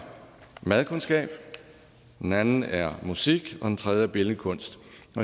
madkundskab den anden er musik og den tredje er billedkunst